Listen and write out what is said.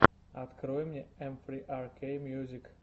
открой мне эм фри ар кей мьюзик